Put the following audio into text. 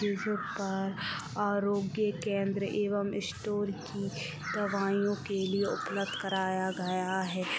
park आरोगय के केंद्र एवं स्टोर की दवाइयों के लिए उपलब्ध कराया गया है